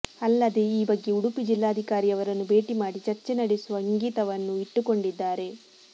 ಅಲ್ಲದೇ ಈ ಬಗ್ಗೆ ಉಡುಪಿ ಜಿಲ್ಲಾಧಿಕಾರಿಯವರನ್ನು ಭೇಟಿ ಮಾಡಿ ಚರ್ಚೆ ನಡೆಸುವ ಇಂಗಿತವನ್ನೂ ಇಟ್ಟುಕೊಂಡಿದ್ದಾರೆ